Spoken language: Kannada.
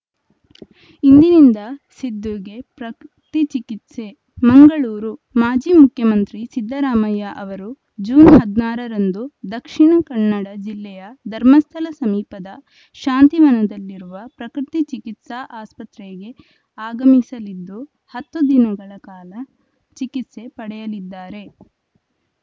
ಇಂದಿನಿಂದ ಸಿದ್ದುಗೆ ಪ್ರಕೃ ತಿ ಚಿಕಿತ್ಸೆ ಮಂಗಳೂರು ಮಾಜಿ ಮುಖ್ಯಮಂತ್ರಿ ಸಿದ್ದರಾಮಯ್ಯ ಅವರು ಜೂನ್ ಹದಿನಾರರಂದು ದಕ್ಷಿಣ ಕನ್ನಡ ಜಿಲ್ಲೆಯ ಧರ್ಮಸ್ಥಳ ಸಮೀಪದ ಶಾಂತಿವನದಲ್ಲಿರುವ ಪ್ರಕೃತಿ ಚಿಕಿತ್ಸಾ ಆಸ್ಪತ್ರೆಗೆ ಆಗಮಿಸಲಿದ್ದು ಹತ್ತು ದಿನುಗಳ ಕಾಲ ಚಿಕಿತ್ಸೆ ಪಡೆಯಲಿದ್ದಾರೆ